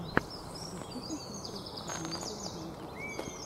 хочу посмотреть армада мьюзик